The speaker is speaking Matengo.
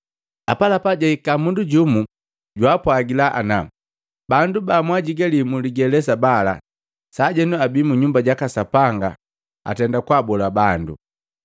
Apalapa jaika mundu jumu, jwaapwagila ana, “Bandu bamwaajigalii muligelesa bala, saajenu abii mu Nyumba jaka Sapanga atenda kwaabola bandu”